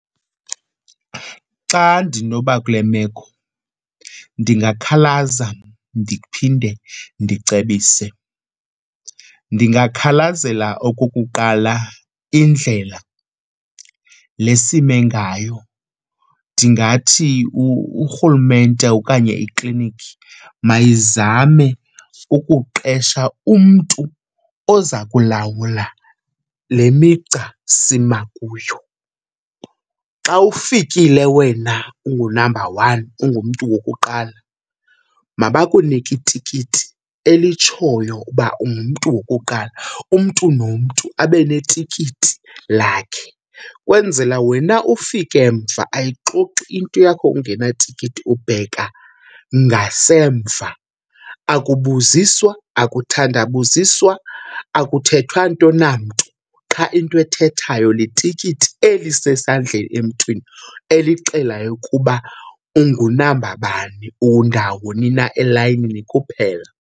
Xa ndinoba kule meko ndingakhalaza ndiphinde ndicebise. Ndingakhalazela okokuqala indlela le sime ngayo, ndingathi uRhulumente okanye ikliniki mayizame ukuqesha umntu oza kulawula le migca sima kuyo. Xa ufikile wena ungu-number one, ungumntu wokuqala, mabakunike itikiti elitshoyo uba ungumntu wokuqala. Umntu nomntu abe netikiti lakhe kwenzela wena ufike mva, ayixoxi into yakho ungenatikiti, ubheka ngasemva. Akubuziswa, akuthandabuziswa, akuthethwa nto namntu, qha into ethethayo litikiti elisesandleni emntwini elixelayo ukuba ungunamba bani, undawoni na elayinini kuphela.